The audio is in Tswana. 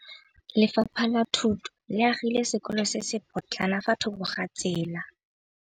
Lefapha la Thuto le agile sekôlô se se pôtlana fa thoko ga tsela.